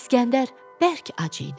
İsgəndər bərk ac idi.